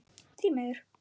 Því miður!